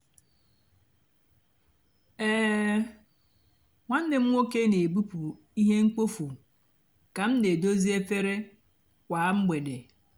um nwánné m nwóké nà-èbupụ íhè mkpófu kà m nà-èdozi efere kwá mgbede.